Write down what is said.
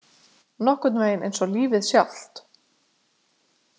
Nokkurn veginn eins og lífið sjálft.